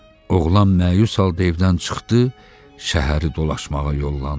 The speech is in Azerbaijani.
Oğlan məyus halda evdən çıxdı, şəhəri dolaşmağa yollandı.